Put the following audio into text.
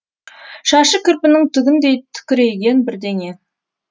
шашы кірпінің түгіндей тікірейген бірдеңе